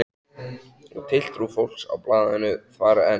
Og tiltrú fólks á blaðinu þvarr enn.